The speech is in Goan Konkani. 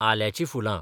आल्याचीं फुलां